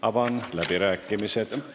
Avan läbirääkimised.